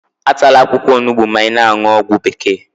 Atala akwụkwọ onugbu ma ị na-aṅụ ọgwụ bekee